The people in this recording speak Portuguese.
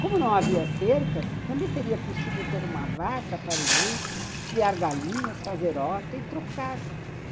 Como não havia cercas, também seria possível ter uma vaca para o leite, criar galinhas, fazer horta e trocar.